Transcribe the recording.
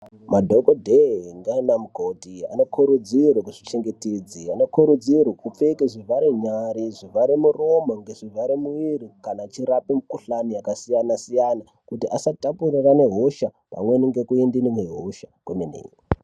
Madhokodheya naanamukoti vanokurudzirwa kuzvichengetedze vanokurudzirwa kupfeke zvivharanyari zvivharamuromo nezvivharimuiri kana vachirape mikhuhlani yakasiyana siyana kuti usatapurirane hosha pamwe nekuende nehosha kwemene.